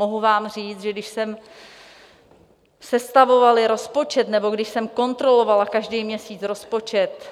Mohu vám říct, že když jsem sestavovala rozpočet nebo když jsem kontrolovala každý měsíc rozpočet,